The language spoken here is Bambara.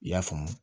I y'a faamu